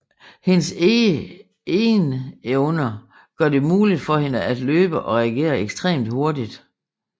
Hendes egernevner gør det muligt for hende at løbe og reagere ekstremt hurtigt